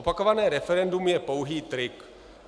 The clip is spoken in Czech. Opakované referendum je pouhý trik.